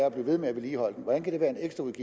at blive ved med at vedligeholde dem hvordan kan det være